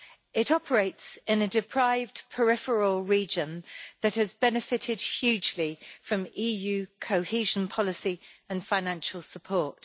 It operates in a deprived peripheral region that has benefited hugely from EU cohesion policy and financial support.